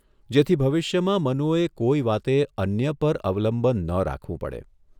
જેથી ભવિષ્યમાં મનુએ કોઇ વાતે અન્ય પર અવલંબન ન રાખવું પડે.